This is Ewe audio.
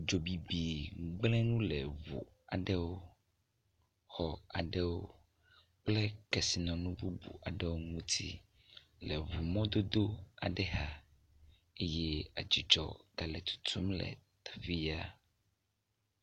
Dzobibi gblẽ nu le ŋu aɖewo, xɔ aɖewo kple kesinɔnu bubu aɖewo ŋuti le ŋumɔdodo aɖe xa eye edzudzɔ ele tutum le teƒe ya.